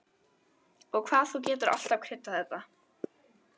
Og hvað þú getur alltaf kryddað þetta!